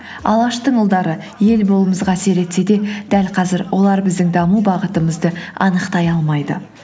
алаштың ұлдары ел болуымызға әсер етсе де дәл қазір олар біздің даму бағытымызды анықтай алмайды